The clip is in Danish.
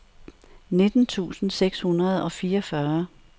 nitten tusind seks hundrede og fireogfyrre